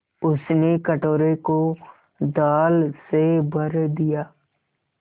उसने कटोरे को दाल से भर दिया